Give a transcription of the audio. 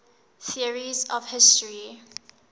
theories of history